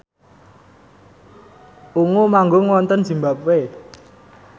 Ungu manggung wonten zimbabwe